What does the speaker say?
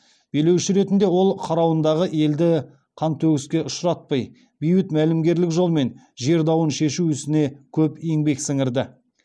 билеуші ретінде ол қарауындағы елді қантөгіске ұшыратпай бейбіт мәмілегерлік жолмен жер дауын шешу ісіне көп еңбек сіңірді